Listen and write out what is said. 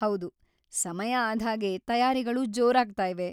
ಹೌದು, ಸಮಯ ಆದ್ಹಾಗೆ ತಯಾರಿಗಳು ಜೋರಾಗ್ತಾಯಿವೆ.